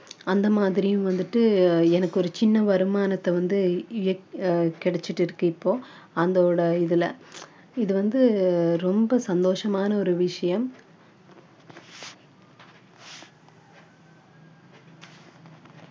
அந்த மாதிரியும் வந்துட்டு எனக்கு ஒரு சின்ன வருமானத்தை வந்து கிடைச்சிட்டு இருக்கு இப்போ அந்தோட இதுல இது வந்து ரொம்ப சந்தோஷமான ஒரு விஷயம்